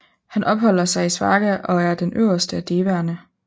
Han opholder sig i Svarga og er den øverste af devaerne